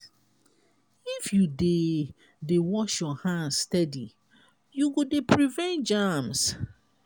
if you dey dey wash your hands steady you go dey prevent germs.